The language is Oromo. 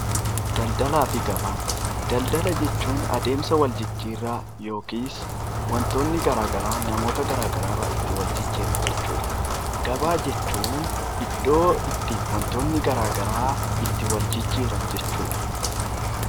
Daldaala jechuun adeemsa wal jijjiirraa yookiin wantoonni garagaraa namoota garagaraa irraa wal jijjiiran jechuudha. Gabaa jechuun iddoo wantoonni adda addaa itti wal jijjiiran jechuudha.